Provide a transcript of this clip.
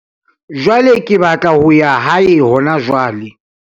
jwale ke batla ho ya hae hona jwale